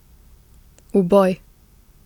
V boj!